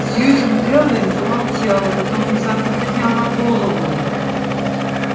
сьюзен кэлвин замолчала потом внезапно подняла голову